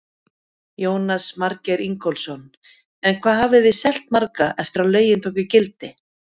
Jónas Margeir Ingólfsson: En hvað hafið þið selt marga eftir að lögin tóku gildi?